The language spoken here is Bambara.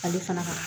Ale fana ka